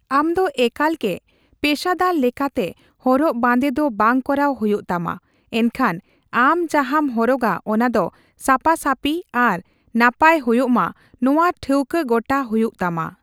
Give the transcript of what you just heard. ᱟᱢ ᱫᱚ ᱮᱠᱟᱞ ᱜᱮ ᱯᱮᱥᱟᱫᱟᱨ ᱞᱮᱠᱟᱛᱮ ᱦᱚᱨᱚᱜ ᱵᱟᱸᱫᱮ ᱫᱚ ᱵᱟᱝ ᱠᱚᱨᱟᱣ ᱦᱳᱭᱳᱜ ᱛᱟᱢᱟ, ᱮᱱᱠᱷᱟᱱ ᱟᱢ ᱡᱟᱦᱟᱸᱢ ᱦᱚᱨᱚᱜᱟ ᱚᱱᱟ ᱫᱚ ᱥᱟᱯᱟ ᱥᱟᱯᱤ ᱟᱨ ᱱᱟᱯᱟᱭ ᱦᱳᱭᱳᱜ ᱢᱟ ᱱᱚᱣᱟ ᱴᱷᱟᱹᱣᱠᱟᱹ ᱜᱚᱴᱟᱭ ᱦᱳᱭᱳᱜ ᱛᱟᱢᱟ ᱾